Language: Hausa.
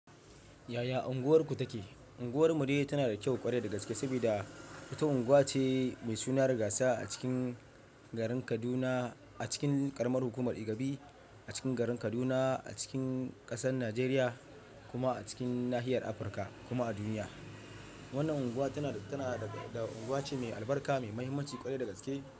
Yaya unguwarku take? Unguwar mu dai tana da kyau ƙwarai da gaske, saboda ita unguwa ce mai suna rigasa a cikin garin Kaduna, a cikin ƙaramar hukumar Igabi a cikin garin Kaduna, a cikin ƙasar Najeriya kuma a cikin nahiyar Afirka kuma a duniya. Wannan unguwa tana da, tana da unguwa ce mai albarka, mai mahimmanci ƙwarai da gaske.